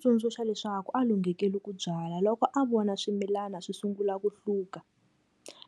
Tsundzuxa leswaku a lunghekeli ku byala loko a vona swimilana swi sungula ku hluka,